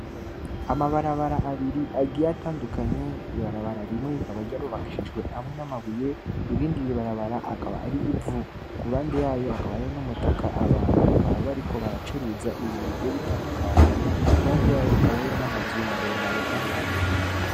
Amabara bara abiri agiye atandukanye, rimwe rikaba ryarubakishjwe hamwe n'amabuye irindi barabara rikaba ari ivu. Ku ruhande yayo hakaba hari n'umutaka abantu bakaba bariko baracuruza ibintu bigiye bitandukanye. Ku ruhande y'ayo hakaba hariyo n'amazu maremare kandi manini.